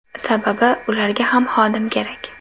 Sababi, ularga ham xodim kerak.